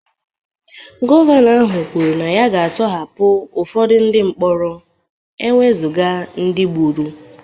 Gọvanọ ahụ kwuru na ya ga-atọhapụ ụfọdụ ndị mkpọrọ ewezuga ndị gburu